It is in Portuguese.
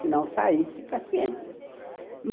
Se não saísse, paciência.